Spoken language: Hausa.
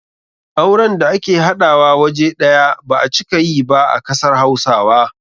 Auren da ake haɗawa waje ɗaya ba a cika yi ba a kasar hausawa.